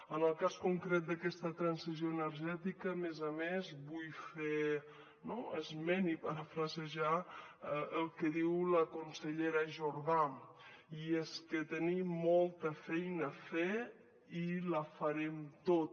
en el cas concret d’aquesta transició energètica a més a més vull fer esment i parafrasejar el que diu la consellera jordà i és que tenim molta feina a fer i la farem tota